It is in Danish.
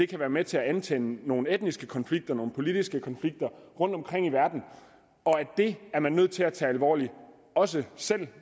kan være med til at antænde nogle etniske konflikter og nogle politiske konflikter rundtomkring i verden og det er man nødt til at tage alvorligt også selv